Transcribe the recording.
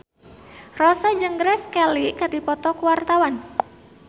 Rossa jeung Grace Kelly keur dipoto ku wartawan